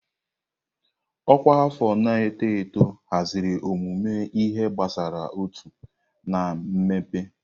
Ọkwa afọ na-eto eto haziri ọmụmụ ihe gbasara uto na mmepe.